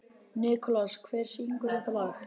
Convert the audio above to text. Nikolas, hver syngur þetta lag?